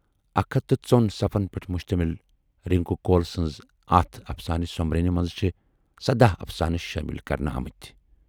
اکھ ہتھ تہٕ ژۅن صفن پٮ۪ٹھ مُشتمل رِنکو کول سٕنزِ اتھ افسانہٕ سومبرنہِ منز چھِ سداہ افسانہٕ شٲمِل کَرنہٕ آمٕتۍ۔